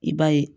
I b'a ye